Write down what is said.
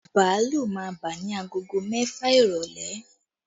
Bàálù máa bà ni aago mẹ́fà ìrọ́lẹ́